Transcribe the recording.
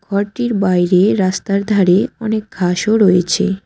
ঘরটির বাইরে রাস্তায় ধারে অনেক ঘাসও রয়েছে।